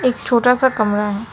एक छोटा सा कमरा है।